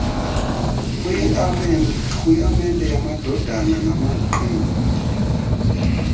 kwirhaamente yamadodana namaqina